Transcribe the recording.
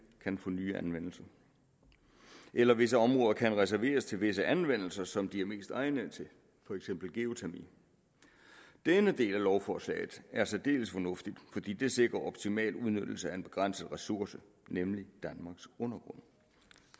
kan få ny anvendelse eller at visse områder kan reserveres til visse anvendelser som de er mest egnet til for eksempel geotermi denne del af lovforslaget er særdeles fornuftig fordi det sikrer optimal udnyttelse af en begrænset ressource nemlig danmarks undergrund